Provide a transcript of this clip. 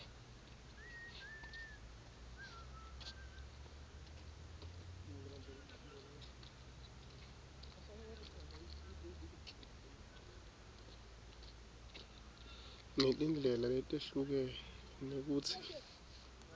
netindlela letehlukene kutsi